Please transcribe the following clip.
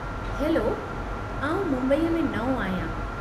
Hello , आऊं मुंबई में नओं आहियां।